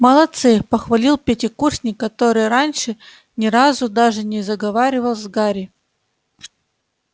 молодцы похвалил пятикурсник который раньше ни разу даже не заговаривал с гарри